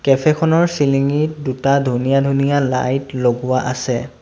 Cafe খনৰ চিলিঙিত দুটা ধুনীয়া ধুনীয়া লাইট লগোৱা আছে।